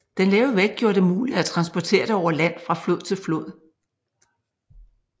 Den lave vægt gjorde det muligt at transportere det over land fra flod til flod